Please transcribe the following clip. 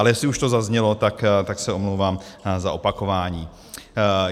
Ale jestli už to zaznělo, tak se omlouvám za opakování.